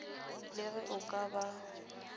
le ge a ka ba